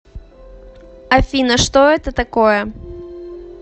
афина что это такое